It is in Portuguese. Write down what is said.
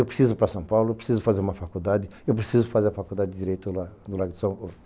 Eu preciso ir para São Paulo, eu preciso fazer uma faculdade, eu preciso fazer a faculdade de Direito no Largo de...